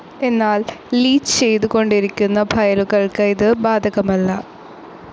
എന്നാൽ ലീച്ച്‌ ചെയ്തു കൊണ്ടിരിക്കുന്ന ഫയലുകൾക്കു ഇതു ബാധകമല്ല.